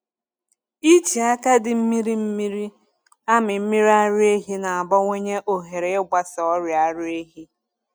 Iji aka dị mmiri mmiri amị mmiri ara ehi na-abawanye ohere ịgbasa ọrịa ara ehi.